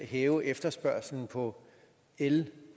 hæve efterspørgsel på el